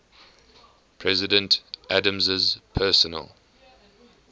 president adams's personal